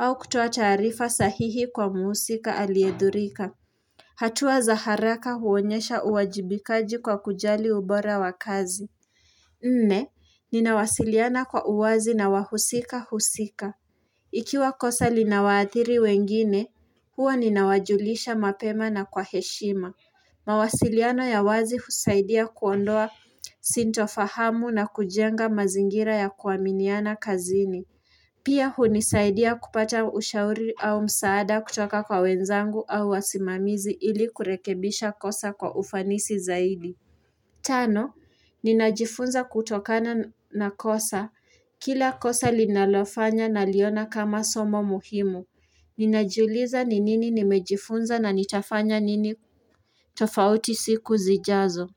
au kutoa taarifa sahihi kwa muusika aliedhirika. Hatua za haraka huonyesha uwajibikaji kwa kujali ubora wa kazi. Nne, ninawasiliana kwa uwazi na wahusika husika. Ikiwa kosa linawaathiri wengine, huwa ninawajulisha mapema na kwa heshima. Mawasiliano ya wazi usaidia kuondoa sinitofahamu na kujenga mazingira ya kuaminiana kazini Pia hunisaidia kupata ushauri au msaada kutoka kwa wenzangu au wasimamizi ili kurekebisha kosa kwa ufanisi zaidi Tano, ninajifunza kutokana na kosa Kila kosa linalofanya naliona kama somo muhimu Ninajuliza ni nini nimejifunza na nitafanya nini tofauti siku zijazo.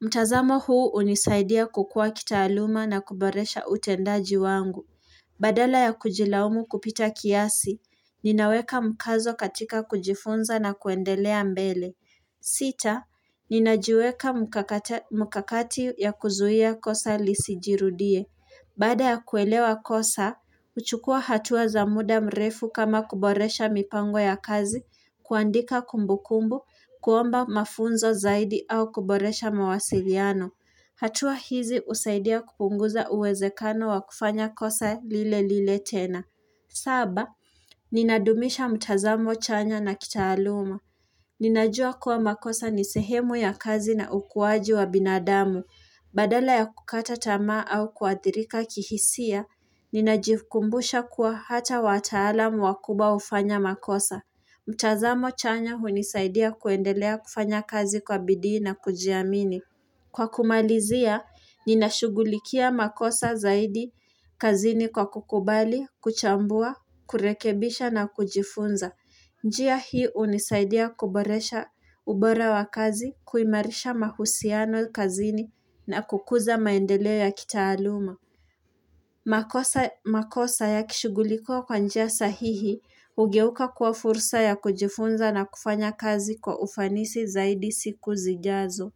Mtazamo huu unisaidia kukua kitaaluma na kuboresha utendaji wangu Badala ya kujilaumu kupita kiasi, ninaweka mkazo katika kujifunza na kuendelea mbele sita, ninajiweka mkakati ya kuzuhia kosa lisijirudie Baada ya kuelewa kosa, uchukua hatua za muda mrefu kama kuboresha mipango ya kazi, kuandika kumbukumbu, kuomba mafunzo zaidi au kuboresha mawasiliano. Hatua hizi usaidia kupunguza uwezekano wa kufanya kosa lile lile tena. Saba, ninadumisha mtazamo chanya na kitaaluma. Ninajua kuwa makosa nisehemu ya kazi na ukuwaji wa binadamu. Badala ya kukata tama au kuadirika kihisia, ninajikumbusha kuwa hata watalamu wakuba ufanya makosa. Mchazamo chanya unisaidia kuendelea kufanya kazi kwa bidii na kujiamini. Kwa kumalizia, nina shughulikia makosa zaidi kazini kwa kukubali, kuchambua, kurekebisha na kujifunza. Njia hii unisaidia kuboresha ubora wa kazi, kuimarisha mahusiano kazini na kukuza maendeleo ya kitaaluma. Makosa ya kishugulikua kwa njia sahihi hugeuka kwa fursa ya kujifunza na kufanya kazi kwa ufanisi zaidi siku zijazo.